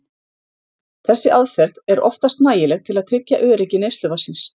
Þessi aðferð er oftast nægileg til að tryggja öryggi neysluvatnsins.